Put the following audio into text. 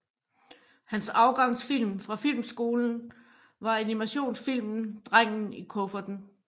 Hans afgangsfilm fra filmskolen var animationsfilmen Drengen i kufferten